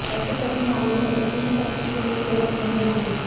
ऐसे सभी मामलों में ऐसी ही सख्ती की उम्मीद गलत नहीं होगी